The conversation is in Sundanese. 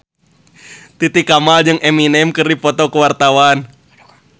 Titi Kamal jeung Eminem keur dipoto ku wartawan